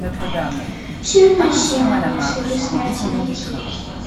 северное сияние следы смерти найти